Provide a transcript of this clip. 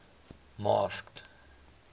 masked